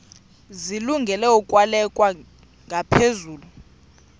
zilungele ukwalekwa ngaphezulu